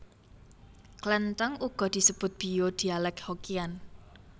Klenthèng uga disebut bio dhialek Hokkian